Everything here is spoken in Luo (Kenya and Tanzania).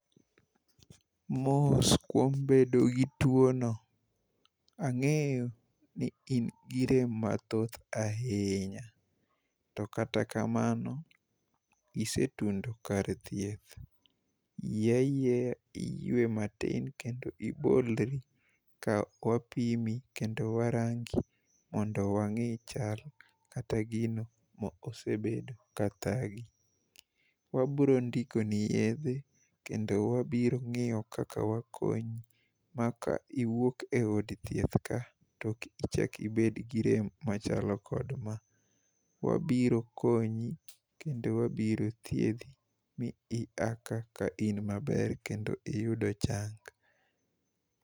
Mos kuom bedo gi tuono, ang'eyo ni in gi rem mathoth ahinya to kata kamano, isetundo kar thieth yie ayieaya iywe matin kendo ibolri ka wapimi kendo warangi mondo wang'i chal kata gino ma osebedo ka thagi. Wabrondikoni yedhe kendo wabrong'iyo kaka wakonyi ma ka iwuok e od thieth ka to ok ichak ibed gi rem machalo kod kama. Wabiro konyi kendo wabirothiedhi mi ia ka kain maber kendo iyudo chang.